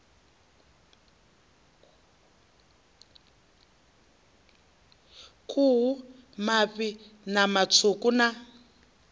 khuhu mafhi ṋama tswuku na